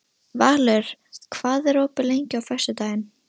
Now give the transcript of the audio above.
Valur, hvað er opið lengi á föstudaginn?